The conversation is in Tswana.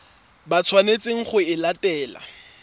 ba tshwanetseng go e latela